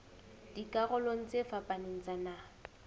dikarolong tse fapaneng tsa naha